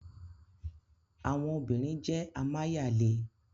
Awọn obirin jẹ amayale.